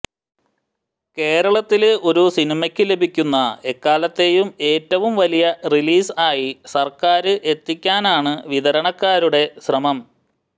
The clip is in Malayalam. കേരളത്തില് ഒരു സിനിമയ്ക്കു ലഭിക്കുന്ന എക്കാലത്തെയും ഏറ്റവും വലിയ റിലീസ് ആയി സര്ക്കാര് എത്തിക്കാനാണ് വിതരണക്കാരുടെ ശ്രമം